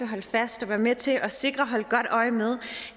holde fast og være med til at sikre og holde godt øje med